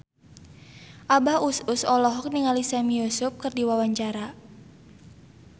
Abah Us Us olohok ningali Sami Yusuf keur diwawancara